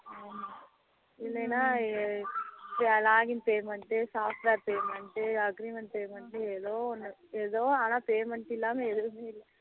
இல்லனா login payment, software payment, agreement payment ஏதோ ஒண்ணு ஏதோ ஆனா payment இல்லாம எதூவுமே இல்லை